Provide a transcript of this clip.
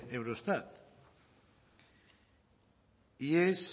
eurostat y es